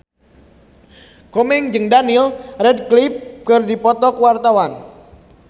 Komeng jeung Daniel Radcliffe keur dipoto ku wartawan